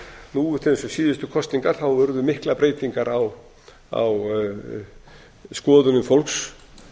til dæmis við síðustu kosningar urðu miklar breytingar á skoðunum fólks